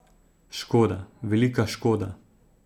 Škoda, velika škoda!